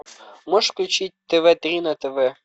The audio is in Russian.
можешь включить тв три на тв